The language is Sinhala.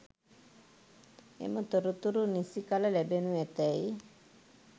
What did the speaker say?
එම තොරතුරු නිසි කළ ලැබෙනු ඇතැයි